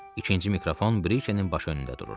İkinci mikrofon Briçenin baş önündə dururdu.